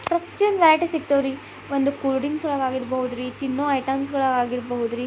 ಪ್ರತಿಯೊಂದ್ ವೆರೈಟಿ ಸಿಕ್ತವ್ ರೀ ಒಂದು ಕೂಲ್ ಡ್ರಿಂಕ್ಸ್ ಒಳಗ್ ಆಗಿರ್ಬಹುದು ರೀ ತಿನ್ನೋ ಐಟೆಮ್ಸ ಗಳಾಗಿರಬಹುದು ರೀ--